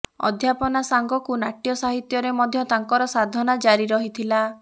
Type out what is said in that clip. ଅଧ୍ୟାପନା ସାଙ୍ଗକୁ ନାଟ୍ୟ ସାହିତ୍ୟରେ ମଧ୍ୟ ତାଙ୍କର ସାଧନା ଜାରି ରହିଥିଲା